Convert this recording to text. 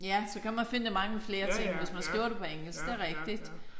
Ja så kan man finde mangle flere ting hvis man skriver det på engelsk det er rigtigt